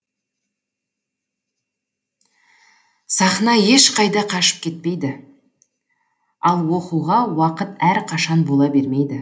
сахна ешқайда қашып кетпейді ал оқуға уақыт әрқашан бола бермейді